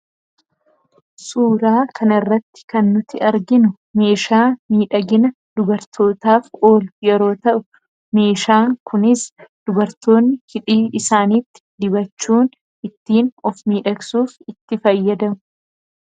suuraa kana irratti kannuti arginu meeshaa miidhagina dubartootaaf ooluyeroo ta'u meeshaa kunis dubartoonni hidhii isaanitti dibachuun ittiin of miidhagsuuf itti fayyadamu